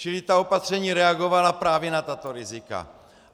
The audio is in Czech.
Čili ta opatření reagovala právě na tato rizika.